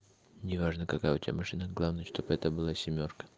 не важно какая у тебя машина главное чтобы это было семёрка